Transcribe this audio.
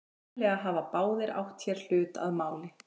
Sennilega hafa báðir átt hér hlut að máli.